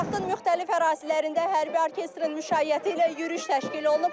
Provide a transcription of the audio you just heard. Paytaxtın müxtəlif ərazilərində hərbi orkestrin müşayiəti ilə yürüyüş təşkil olunub.